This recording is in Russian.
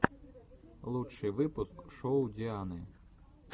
лучший выпуск шоу дианы